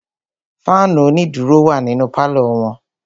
Fáànù onídùró wà nínú pálọ̀ wọn.